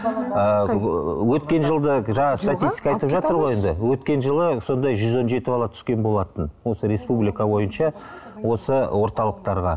ыыы өткен жылды жаңағы статистика айтып жатыр ғой енді өткен жылы сондай жүз он жеті бала түскен болатын осы республика бойынша осы орталықтарға